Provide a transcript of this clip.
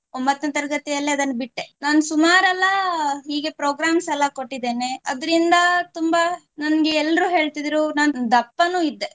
ಒಂಭತ್ತನೆ ತರ್ಗತಿಯಲ್ಲೇ ಅದನ್ನ ಬಿಟ್ಟೆ ನಾನು ಸುಮಾರೆಲ್ಲಾ ಹೀಗೆ programmes ಎಲ್ಲಾ ಕೊಟ್ಟಿದ್ದೇನೆ ಅದ್ರಿಂದ ತುಂಬಾ ನಂಗೆ ಎಲ್ರೂ ಹೇಳ್ತಾ ಇದ್ರು ನಾನು ದಪ್ಪನು ಇದ್ದೆ